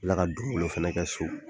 la ka donbolo fɛnɛ kɛ so.